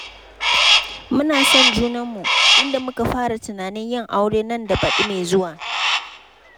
Muna son junanmu, inda muka fara tunanin yin aure nan da baɗi mai zuwa.